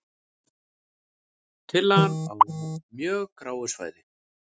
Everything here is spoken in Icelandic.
Tillagan á mjög gráu svæði